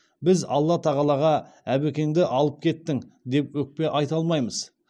біз алла тағалаға әбекеңді алып кеттің деп өкпе айта алмаймыз